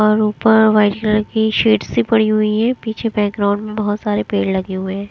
और ऊपर white colour की शीट्स सी पड़ी हुई है पीछे बैकग्राउंड में बहुत सारे पेड़ लगे हुए हैं।